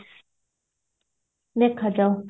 ଦେଖାଯାଉ